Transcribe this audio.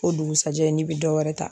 O dugusajɛ n'i bɛ dɔ wɛrɛ ta